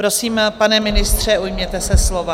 Prosím, pane ministře, ujměte se slova.